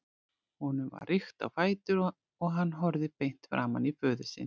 Honum var rykkt á fætur og hann horfði beint framan í föður sinn.